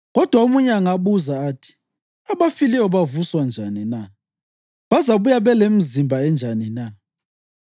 Kodwa omunye angabuza athi, “Abafileyo bavuswa njani na? Bazabuya belemizimba enjani na?”